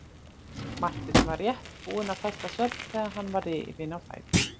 Marteinn var rétt búinn að festa svefn þegar hann var rifinn á fætur.